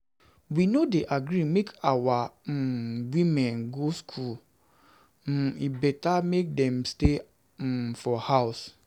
We no dey gree make our um women go skool, um e beta make dem dey stay um for house.